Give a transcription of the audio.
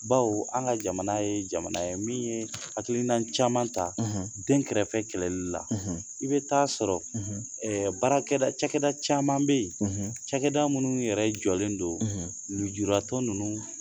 Bawo an ka jamana ye jamana ye min ye hakilina caman ta dɛnkɛrɛfɛ kɛlɛli la, i bɛ ta'a ɛ sɔrɔ baarakɛda cɛkɛda caman bɛ yen, cɛkɛda minnu yɛrɛ jɔlen don lujuratɔ ninnu